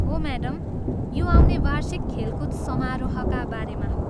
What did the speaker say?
हो, म्याडम, यो आउने वार्षिक खेलकुद समारोहका बारेमा हो।